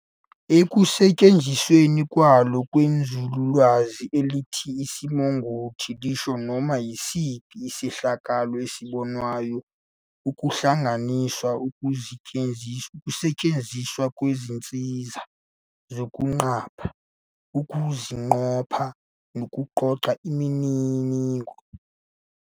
Ekusetshenzisweni kwalo kwinzululwazi, elithi Isimongotho lisho noma yisiphi isehlakalo esibonwayo, kuhlanganisa nokusetshenziswa kwezinsiza zokusiqapha, ukusiqopha, nokuqoqa imininingo.